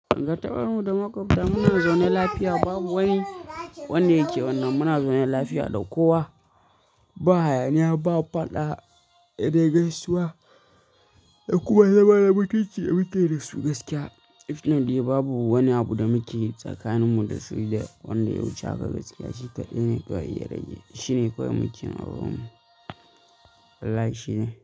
Gabatar mu da makwabta muna zaune lafiya babu wani wanda yake wannan muna zaune lafiya da kowa ba hayaniya ba faɗa, he dai gaisuwa da kuma zama na mutunci damukeyi da su gaskiya. Na dai babu wani abu da mukeyi tsakanin mu da su da wanda ya wuce haka gaskiya shi kaɗai ne ɗan iya ya rage shi ne kawai muke yin a wurin mu. Allah shi ne.